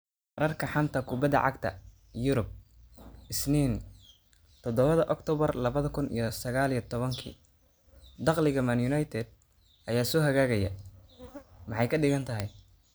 Wararka xanta kubbada cagta Yurub Isniin todobada octoobar labada kuun iyo sagaal iyo tobaanki Dakhliga Man United ayaa soo hagaagaya, maxay ka dhigan tahay?